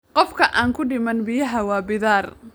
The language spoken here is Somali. Qofka aan ku dhiman biyaha waa bidaar